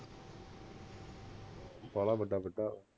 ਬਾਲਾ ਵੱਡਾ ਕਿਲ੍ਹਾ